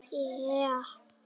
Meðganga, fæðing og handtaka